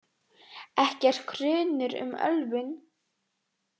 Ekki er grunur um ölvun